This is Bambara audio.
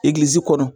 Egilizi kɔnɔ